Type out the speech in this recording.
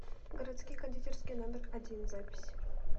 городские кондитерские номер один запись